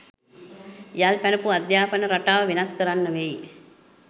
යල් පැනපු අධ්‍යාපන රටාව වෙනස් කරන්න වෙයි.